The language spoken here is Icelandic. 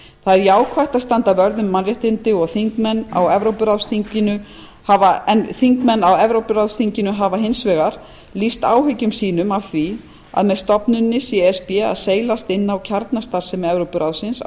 er jákvætt að standa vörð um mannréttindi en þingmenn á evrópuráðsþinginu hafa hins vegar lýst áhyggjum sínum af því að með stofnuninni sé e s b að seilast inn á kjarnastarfsemi evrópuráðsins á